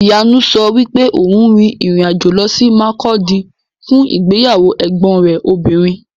Ìyanu sọ wípé òun rin ìrìn-àjò lọ sí Makurdi fún ìgbéyàwó ẹ̀gbọn rẹ̀ obìnrin.